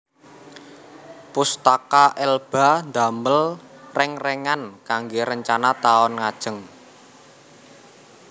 Pustaka Elba ndamel reng rengan kangge rencana taun ngajeng